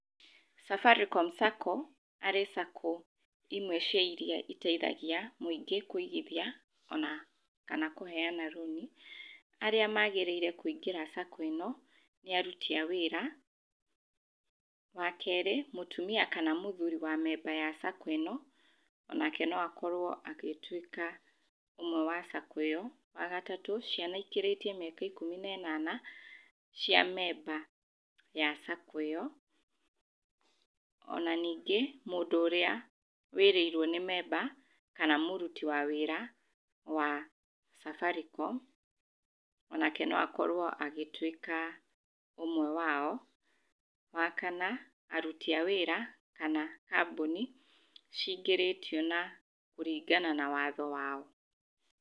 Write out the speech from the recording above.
Safaricom Sacco arĩ Sacco imwe cia iria iteithagia mũingĩ kũigithia ona kana kũheana rũni. Arĩa magĩrĩire kũingĩra sacco ĩno nĩ aruti a wĩra, wa kerĩ mũtumia kana mũthuuri wa memba wa sacco ĩno onake no akorwo agĩtuĩka ũmwe wa sacco ĩyo. Wa gatatũ ciana ikĩrĩtie mĩaka ikũmi na ĩnana cia memba wa sacco ĩyo, ona ningĩ mũndũ ũrĩa wĩrĩirwo nĩ memba kana mũruti wa wĩra wa Safaricom, onake no akorwo agĩtuĩka ũmwe wao. Wa kana aruti a wĩra kana kambuni cingĩrĩtio kũringana na watho wao.